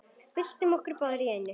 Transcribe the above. Byltum okkur báðar í einu.